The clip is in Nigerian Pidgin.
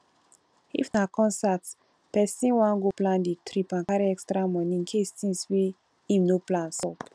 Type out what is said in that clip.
if na concert person wan goplan di trip and carry extra money incase thins wey im no plan sup